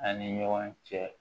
An ni ɲɔgɔn cɛ